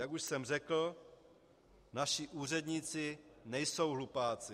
Jak už jsem řekl, naši úředníci nejsou hlupáci.